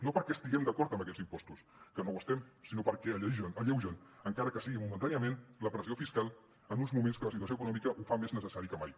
no perquè estiguem d’acord amb aquests impostos que no ho estem sinó perquè alleugen encara que sigui momentàniament la pressió fiscal en uns moments que la situació econòmica ho fa més necessari que mai